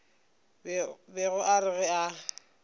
bego a re ge a